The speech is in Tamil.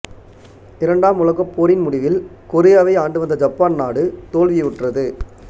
இரண்டாம் உலகப்போரின் முடிவில் கொரியாவை ஆண்டுவந்த ஜப்பான் நாடு தோல்வியுற்றது